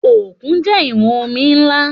Òkun jẹ́ ìwọ̀n omi ńlá